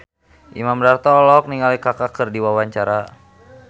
Imam Darto olohok ningali Kaka keur diwawancara